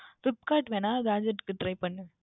Flipkart வேண்டுமென்றால் Gadget க்கு Try பண்ணு